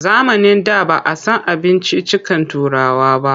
Zamanin da ba a san abinciccikan Turawa ba.